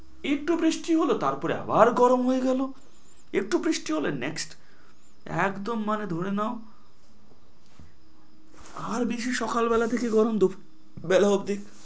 একটু বৃষ্টি হলো তার পরে আবার গরম হয়ে গেল, একটু বৃষ্টি হলে next একদম মানে ধরে নেও, আর বেশি সকাল বেলা থেকে গরম দুপুর বেলা অবদি